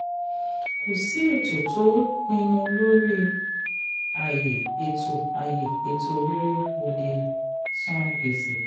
kò sí ètò tó pinnu lórí ayé ètò ayé ètò rere ò lè san gbèsè.